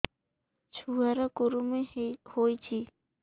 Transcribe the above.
ଛୁଆ ର କୁରୁମି ହୋଇଛି